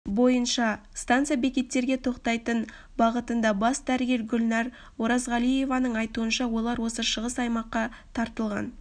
бойынша станция бекеттерге тоқтайтын бағытында бас дәрігер гүлнар оразғалиеваның айтуынша олар осы шығыс аймаққа тартылған